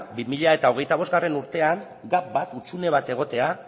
bi mila hogeita bostgarrena urtean gap bat hutsune bat egotea